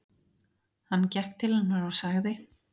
Hann gekk til hennar og sagði